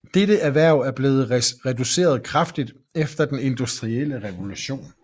Dette erhverv er blevet reduceret kraftigt efter den industrielle revolution